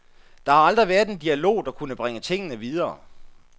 Der har aldrig været en dialog, der kunne bringe tingene videre.